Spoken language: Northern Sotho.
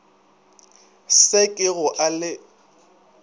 se ke go a le